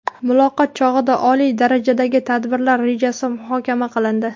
Muloqot chog‘ida oliy darajadagi tadbirlar rejasi muhokama qilindi.